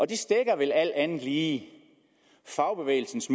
de stækker vel alt andet lige fagbevægelsens